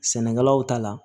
Sɛnɛkɛlaw ta la